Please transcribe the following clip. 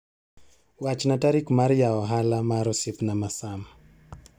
Wachna tarik mar yawo ohala mar osiepna ma Sam.